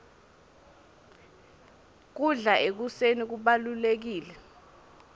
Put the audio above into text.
kudla ekuseni kubalulekile